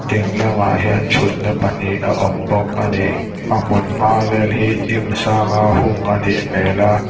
ding lamah hian thutna pahnih a awm bawk a ni a hmun hma vel hi hnim sanga hung a nih hmel a.